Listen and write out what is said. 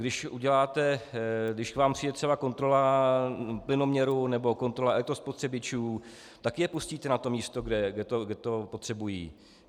Když k vám přijde třeba kontrola plynoměru nebo kontrola elektrospotřebičů, taky je pustíte na to místo, kde to potřebují.